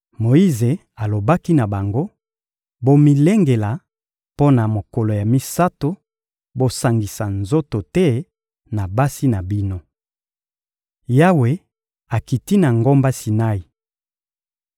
Moyize alobaki na bango: — Bomilengela mpo na mokolo ya misato, bosangisa nzoto te na basi na bino. Yawe akiti na ngomba Sinai